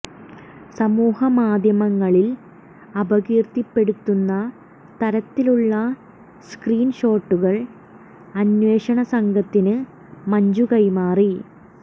സമൂഹ മാധ്യമങ്ങളിൽ അപകീർത്തി പെടുത്തുന്ന തരത്തിലുളള സ്ക്രീൻ ഷോട്ടുകൾ അന്വേഷണസംഘത്തിന് മഞ്ജു കൈമാറി